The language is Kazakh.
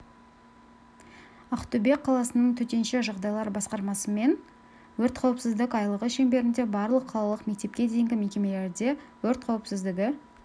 ақтөбе қаласының төтенше жағдайлар басқармасымен өрт қауіпсіздік айлығы шеңберінде барлық қалалық мектепке дейінгі мекемелерде өрт қауіпсіздігі